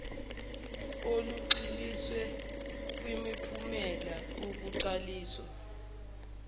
olugxiliswe kwimiphumela ukuqaliswa